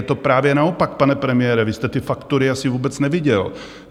Je to právě naopak, pane premiére, vy jste ty faktury asi vůbec neviděl.